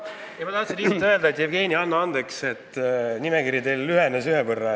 Ma tahtsin lihtsalt öelda, et, Jevgeni, anna andeks, et teie nimekiri lühenes ühe inimese võrra.